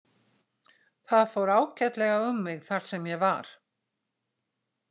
Það fór ágætlega um mig þar sem ég var.